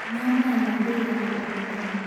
Nyua maĩĩ ma kũĩgana o mũthenya